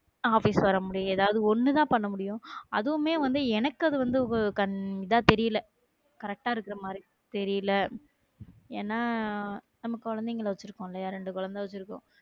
Office வர முடியும் எதாவது ஒண்ணுதான் பண்ண முடியும். அதுவுமே வந்து எனக்கு அது வந்து இதா தெரியலே correct ஆ இருக்கிற மாதிரி தெரியல ஏன்னா நம்ம குழந்தைங்கள் வச்சி இருக்கோம்ல இல்லையா இரண்டு குழந்தைகள் இருக்கோ